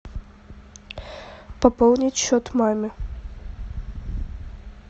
пополнить счет маме